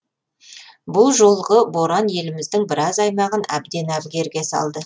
бұл жолғы боран еліміздің біраз аймағын әбден әбігерге салды